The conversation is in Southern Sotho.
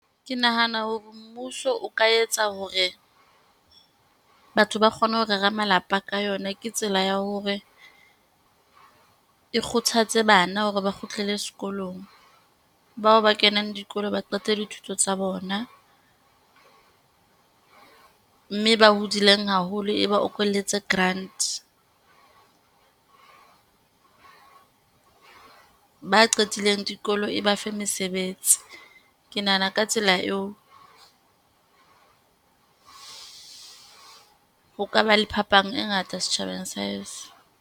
Ke nahana hore mmuso o ka etsa hore batho ba kgone ho rera malapa ka yona. Ke tsela ya hore, e kgothatse bana hore ba kgutlele sekolong, bao ba kenang dikolo, ba qete dithuto tsa bona. Mme ba hodileng haholo e ba okolletsa grant. Ba qetileng dikolo e ba fe mesebetsi. Ke nahana ka tsela eo, ho ka ba le phapang e ngata setjhabeng .